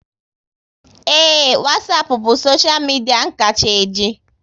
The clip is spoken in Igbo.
Ee, Wasapu bụ soshia media n kacha e ji